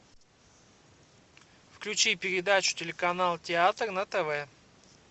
включи передачу телеканал театр на тв